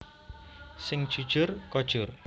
Sing jujur kojur